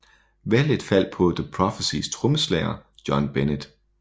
Valget faldt på The Prophecys trommeslager John Bennett